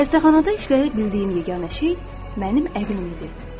Xəstəxanada işləyə bildiyim yeganə şey mənim əqlim idi.